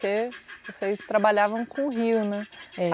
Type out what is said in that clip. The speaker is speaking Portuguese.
Porque vocês trabalhavam com rio, né? É